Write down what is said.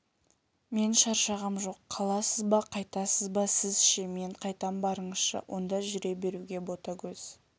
мен шаршағам жоқ қаласыз ба қайтасыз ба сіз ше мен қайтам барыңыз онда жүре беруге ботагөз